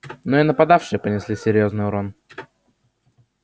но и нападавшие понесли серьёзный урон